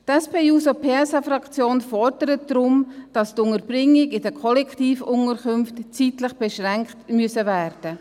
Die SP-JUSO-PSA-Fraktion fordert deshalb, dass die Unterbringungen in den Kollektivunterkünften zeitlich beschränkt werden müssen.